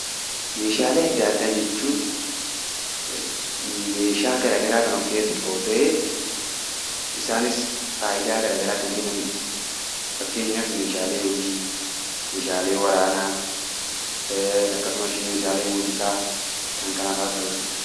Meeshaalee adda addaa jechuun meeshaa gara garaa kan of keessatti qabatu ta'ee, isaanis faayidaa gara garaa kan kennani dha. Fakkeenyaaf meeshaalee hojii, meeshaalee waraanaa akkasumas meeshaalee muuziqaa, kana kanafaa ta'uu danda'a.